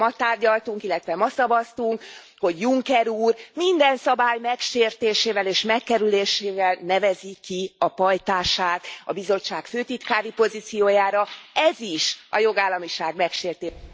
Amiről ma tárgyaltunk, illetve ma szavaztunk, hogy Juncker úr minden szabály megsértésével és megkerülésével nevezi ki a pajtását a Bizottság főtitkári pozíciójára, ez is a jogállamiság megsértése...